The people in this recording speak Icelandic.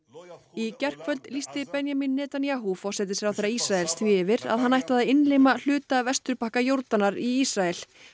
í gærkvöld lýsti Benjamin Netanyahu forsætisráðherra Ísraels því yfir að hann ætlaði að innlima hluta vesturbakka Jórdanar í Ísrael